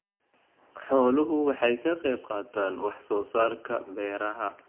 Xooluhu waxay ka qayb qaataan wax soo saarka beeraha.